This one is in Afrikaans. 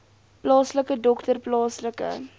plaaslike dokter plaaslike